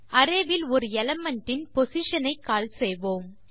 array இல் ஒரு element இன் பொசிஷன் ஐ கால் செய்வோம்